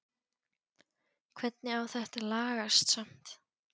Hvernig á þetta að lagast samt??